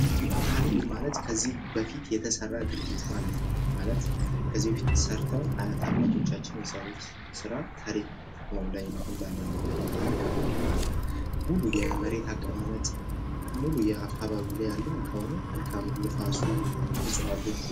ታሪክ ማለት ከዚህ በፊት የተሰራ ድርጊት ማለት ነው ።ማለት ከዚህ በፊት ሰርተው አያት አባቶቻችን የሠሩት ስራ ታሪክ ነው። አሁን ላይ ላለንበት ነገር መልካም ምድር ማለት ሙሉ የመሬት አቀማመጥ ሙሉ አካባቢው ላይ ያለ አካባቢው ንፋሱ እፅዋቶቹ